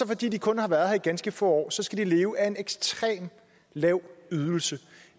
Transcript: fordi de kun har været her ganske få år skal de leve af en ekstremt lav ydelse